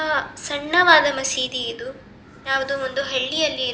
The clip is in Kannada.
ಆಹ್ಹ್ ಸಣ್ಣವಾದ ಮಸೀದಿ ಇದು ಯಾವ್ದೋ ಒಂದು ಹಳಿಯಲ್ಲಿ ಇರ್ --